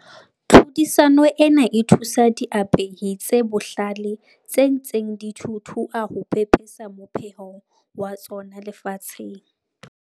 Tlhodisano ena e thusa diapehi tse bohlale tse ntseng di thuthua ho pepesa mopheho wa tsona lefatsheng.